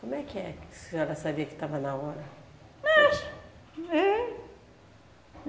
Como é que é que a senhora sabia que estava na hora? Mas, hum, é...